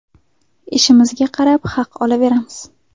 Ishimizga qarab haq olaveramiz.